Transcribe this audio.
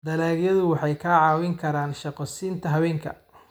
Dalagyadu waxay kaa caawin karaan shaqo siinta haweenka.